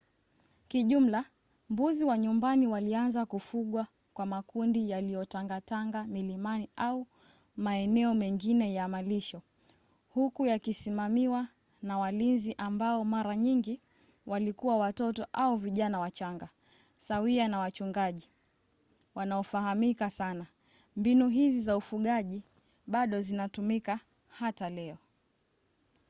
kijumla mbuzi wa nyumbani walianza kufugwa kwa makundi yaliyotangatanga milimani au maeneo mengine ya malisho huku yakisimamiwa na walinzi ambao mara nyingi walikuwa watoto au vijana wachanga sawia na wachungaji wanaofahamika sana. mbinu hizi za ufugaji bado zinatumika hata leo